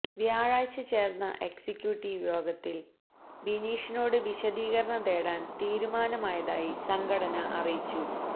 വ്യാഴാഴ്ച ചേർന്ന എക്സിക്യൂട്ടിവ് യോഗത്തിൽ ബിനീഷിനോട് വിശദീകരണം തേടാൻ തീരുമാനമായതായി സംഘടന അറിയിച്ചു